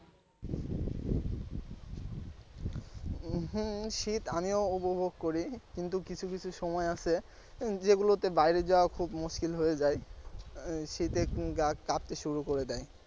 হম শীত আমিও উপভোগ করি কিন্তু কিছু কিছু সময় আছে যেগুলোতে বাইরে যাওয়া খুব মুশকিল হয়ে যায় আহ শীতে গা কাঁপতে শুরু করে দেয়।